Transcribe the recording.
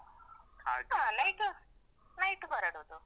ಹಾ night, night ಹೊರಡುದು.